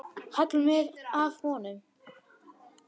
Halla mér að honum.